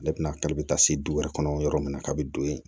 Ne bɛna kari bɛ taa se du wɛrɛ kɔnɔ yɔrɔ min kabin don yen